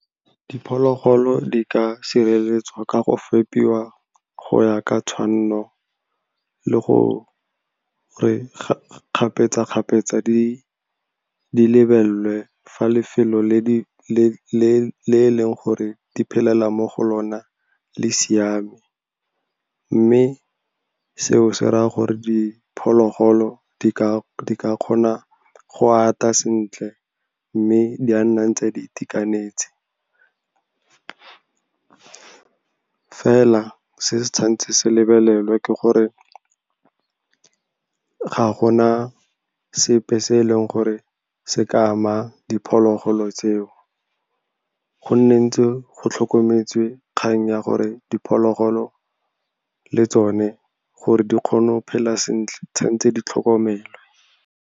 Diphologolo di ka sireletswa ka go fepiwa go ya ka tshwanno le go re kgapetsa-kgapetsa di lebelelwe fa lefelo le eleng gore di phela mo go lona le siame. Mme seo se raya gore diphologolo di ka kgona go ata sentle, mme di a nnang tse di itekanetse. Fela se tshwantse se lebelelwe ke gore ga gona sepe se e leng gore se ka ama diphologolo tseo, go nne ntse go tlhokometswe kgang ya gore diphologolo le tsone gore di kgone go phela sentle, tshwantse di tlhokomelwe.